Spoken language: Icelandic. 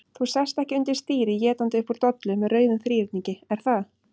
Þú sest ekki undir stýri étandi upp úr dollu með rauðum þríhyrningi, er það?